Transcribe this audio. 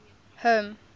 home